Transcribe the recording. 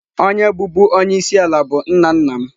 Onye bụbu onye isi ala bụ nna nna m.